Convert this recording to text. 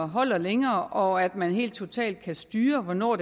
holder længere og at man helt totalt kan styre hvornår